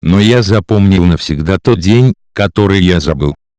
но я запомнил навсегда тот день который я забыл